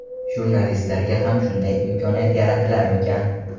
Jurnalistlarga ham shunday imkoniyat yaratilarmikan?.